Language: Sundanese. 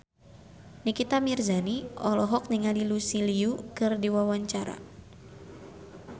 Nikita Mirzani olohok ningali Lucy Liu keur diwawancara